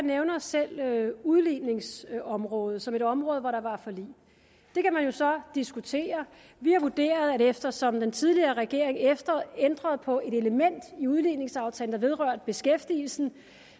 nævner selv udligningsområdet som et af de områder hvor der var et forlig det kan man jo så diskutere vi har vurderet at eftersom den tidligere regering ændrede på et element i udligningsaftalen vedrørte beskæftigelsen